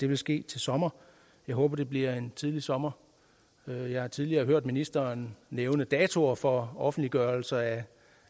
vil ske til sommer jeg håber det bliver tidligt sommer jeg har tidligere hørt ministeren nævne datoer for offentliggørelse af